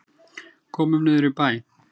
Komum niður í bæ!